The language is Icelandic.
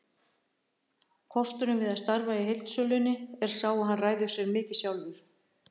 Kosturinn við að starfa í heildsölunni er sá að hann ræður sér mikið sjálfur.